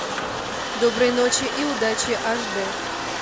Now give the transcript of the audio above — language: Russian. доброй ночи и удачи аш д